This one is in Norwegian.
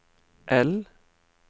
L